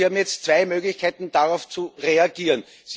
Sie haben jetzt zwei Möglichkeiten, darauf zu reagieren.